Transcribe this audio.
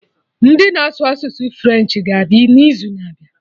Ndị na-asụ asụsụ French ga-abịa n'izu na-abịa